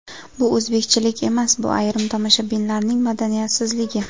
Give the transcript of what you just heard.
Bu o‘zbekchilik emas bu ayrim tomoshabinlarning madaniyatsizligi.